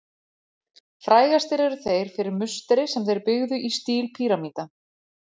Frægastir eru þeir fyrir musteri sem þeir byggðu í stíl píramída.